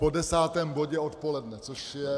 Po desátém bodě odpoledne, což je...